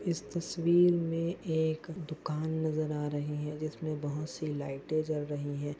इस तस्वीर मे एक दुकान नजर आ रही है जिसमे बहुत सी लाइटे जल रही है।